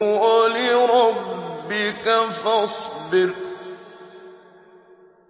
وَلِرَبِّكَ فَاصْبِرْ